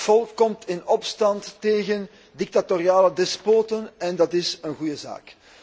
Het volk komt in opstand tegen dictatoriale despoten en dat is een goede zaak.